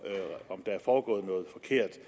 der er foregået noget forkert